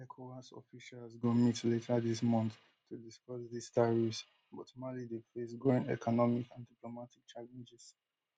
ecowas officials go meet later dis month to discuss dis tariffs but mali dey face growing economic and diplomatic challenges